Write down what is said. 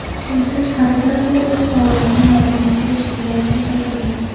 Tushuntirish xatida bu o‘z faoliyatini moliyalashtirish deya ko‘rsatilgan.